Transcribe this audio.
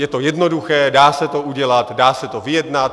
Je to jednoduché, dá se to udělat, dá se to vyjednat.